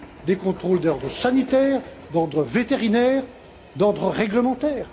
des contrôles d'ordre sanitaire, d'ordre vétérinaire, d'ordre réglementaire.